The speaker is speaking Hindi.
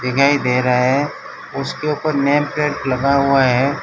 नयी दे रहा है उसके ऊपर नेट प्लेट लगा हुआ है।